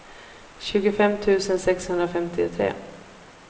tjugofem tusen sexhundrafemtiotre